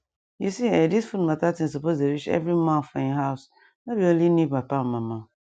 you see um this food matter thig suppose dey reach every ma for um house no be olny new papa and mama